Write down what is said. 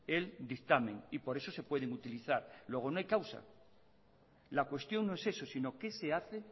el dictamen y por eso se pueden utilizar luego no hay causa la cuestión no es eso sino qué se hace